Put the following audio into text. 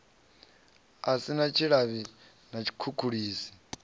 si na tshilavhi na tshikhukhulisi